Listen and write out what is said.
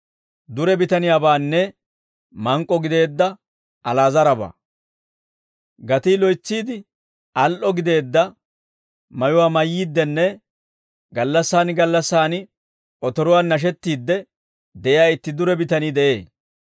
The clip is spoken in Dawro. «Gatii loytsiide al"o gideedda mayuwaa mayyiiddinne gallassaan gallassaan otoruwaan nashettiidde de'iyaa itti dure bitanii de'ee.